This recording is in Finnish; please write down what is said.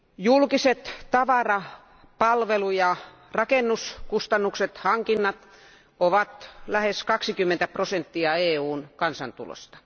Julkiset tavara palvelu ja rakennuskustannukset, hankinnat, ovat lähes 20 prosenttia EUn kansantulosta.